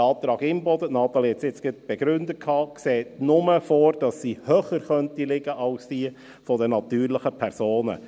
Der Antrag Imboden – Natalie Imboden hat es nun gerade begründet – sieht nur vor, dass sie höher liegen könnte als diejenige der natürlichen Personen.